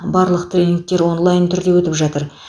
барлық тернингтер онлайн түрде өтіп жатыр